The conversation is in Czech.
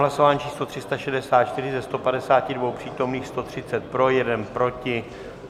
Hlasování číslo 364, ze 152 přítomných 130 pro, 1 proti.